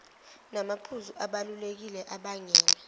namaphuzu abalulekile abangela